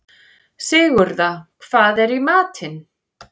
Sigurða, hvað er í matinn?